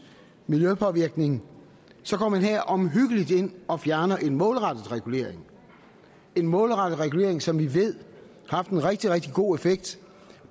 miljøpåvirkning her omhyggeligt går ind og fjerner en målrettet regulering en målrettet regulering som vi ved har haft en rigtig rigtig god effekt